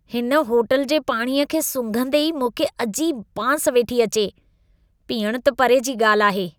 हिन होटल जे पाणीअ खे सूंघंदे ई मूंखे अजीब बांस वेठी अचे, पीअण त परे जी ॻाल्हि आहे।